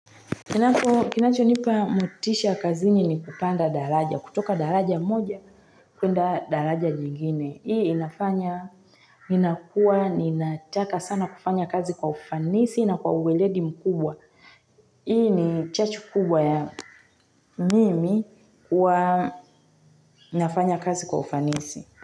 Kinacho nipa motisha kazini ni kupanda daraja. Kutoka daraja moja, kwenda daraja jingine. Hii inafanya, ninakuwa, ninataka sana kufanya kazi kwa ufanisi na kwa uwelegi mkubwa. Hii ni chacho kubwa ya mimi kuwa nafanya kazi kwa ufanisi.